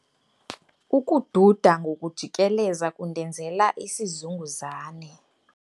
Ukududa ngokujikeleza kundenzela isizunguzane.